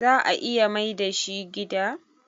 za a iya Maida shi gida.?